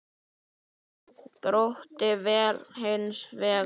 Grótta féll hins vegar.